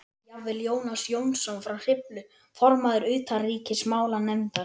Jafnvel Jónas Jónsson frá Hriflu, formaður utanríkismálanefndar